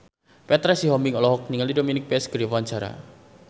Petra Sihombing olohok ningali Dominic West keur diwawancara